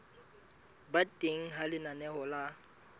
ba teng ha lenaneo la